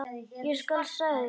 Ég skal, sagði Siggi.